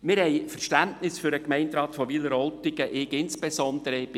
Wir haben Verständnis für den Gemeinderat von Wileroltigen, insbesondere ich.